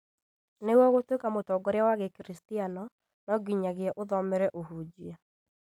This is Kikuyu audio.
Nĩguo gũtuĩka mũtongoria wa gĩkiristiano no nginyagia ũthomere ũhunjia